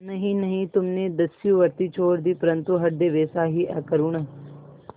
नहीं नहीं तुमने दस्युवृत्ति छोड़ दी परंतु हृदय वैसा ही अकरूण